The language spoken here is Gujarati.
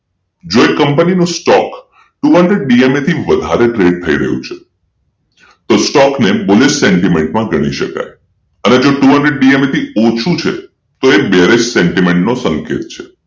જો એ કંપની નો સ્ટોક two hundred વધારે thred થઈ રહ્યું છે તો સ્ટોક ને bullish sentiment મા ગણી શકાય અને જો two hundred DMA થી ઓછું છે તો એ berish sentiment નો સંકેત છે